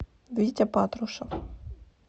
витя патрушев